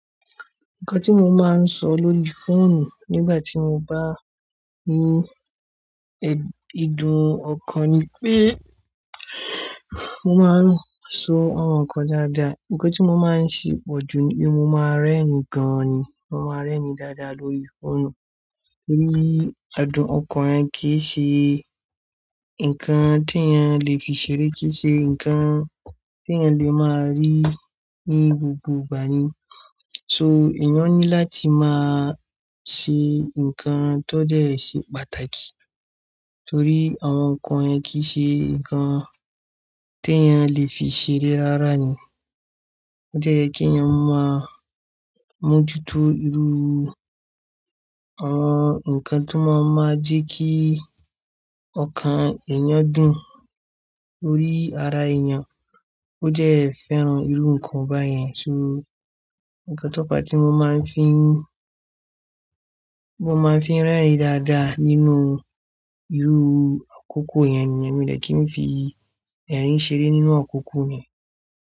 Nǹkan tí mo máa ń sọ lórí fóònù nígbà tí mo bá ní ẹ́, ìdun ọkàn ni pé mo máa ń so àwọn nǹkan dáadáa. Nǹkan tí mo máa ń ṣe pọ̀jù ni pé mo máa ń rẹ́rin gan ni, mo máa ń rẹ́rin dáadáa lórí fóònù torí adùn ọkàn yẹn kì í ṣe nǹkan tí ẹ́eyan lè fi ṣeré, kì í ṣe nǹkan tí ẹ́eyan lè máa rí ní gbogbo ìgbà ni. So èèyàn ní láti máa ṣe nǹkan tó dẹ́ ṣe pàtàkì torí àwọn nǹkan yẹn kì í ṣe nǹkan tí ẹ́eyan lè fi ṣeré rárá ni. Ó dẹ́ ye kí ẹ́eyan máa mójútó irú àwọn nǹkan tí wọ́n máa jẹ́ kí ọkàn èèyàn dùn lórí ara èèyàn. Ó dẹ́ fẹ́ràn irú nǹkan báyẹn. So nǹkan tó fa tí mo máa ń fi, tí mo máa ń fi rẹ́rin dáadáa nínú irú akoko yẹn nìyẹn, mi ò dẹ́ tí ń fi ẹ̀rín ṣeré nínú akoko ni.